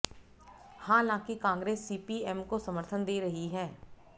हालांकि कांग्रेस सीपीएम को समर्थन दे रही है